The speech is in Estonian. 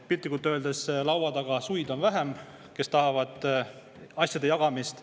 Piltlikult öeldes on laua taga vähem suid, kes tahavad asjade jagamist.